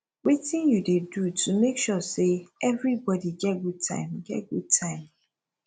wetin you dey do to make sure say everybody get good time get good time